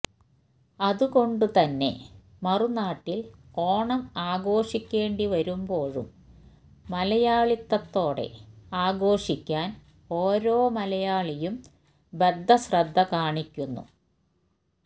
അതുകൊണ്ട് തന്നെ മറുനാട്ടില് ഓണം ആഘോഷിക്കേണ്ടി വരുമ്പോഴും മലയാളിത്തത്തോടെ ആഘോഷിക്കാന് ഓരോ മലയാളിയും ബദ്ധശ്രദ്ധ കാണിക്കുന്നു